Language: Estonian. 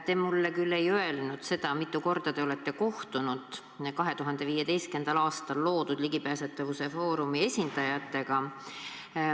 Te mulle küll ei öelnud, mitu korda te olete kohtunud 2015. aastal loodud Ligipääsetavuse Foorumi esindajatega.